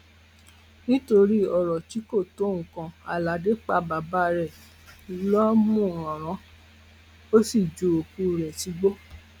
nítorí ọrọ tí kò tó nǹkan aládé pa bàbá rẹ lọmúaran ò sì ju òkú ẹ sígbó